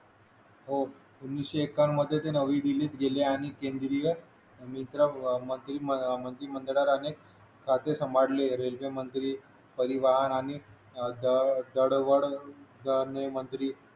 हो उन्नीशे एक्कावन्न मध्ये नवी दिल्लीत गेले आणि केंद्रीय मित्र मंत्रिमंडळ मंत्रिमंडळात अनेक अनेकाचे सांभाळले रेल्वेमंत्री परिवहन आणि दळणवळण मंत्री